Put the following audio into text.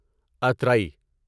اترائی